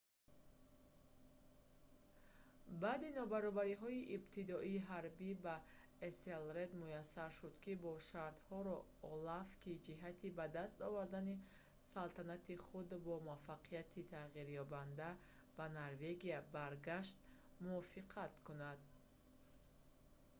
баъди нобарориҳои ибтидоии ҳарбӣ ба эселред муяссар шуд ки бо шартҳоро олаф ки ҷиҳати ба даст овардани салатанати худ бо муваффақияти тағйирёбанда ба норвегия баргашт мувофиқа кунад